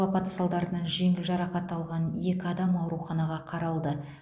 жеңіл жарақат алған екі адам ауруханаға қаралды